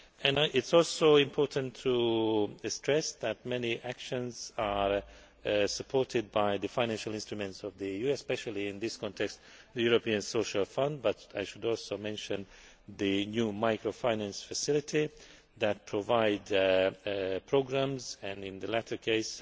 It is also important to stress that many actions are supported by the financial instruments of the EU, especially in this context, the European Social Fund, but I should also mention the new Microfinance Facility that provides programmes and, in the latter case,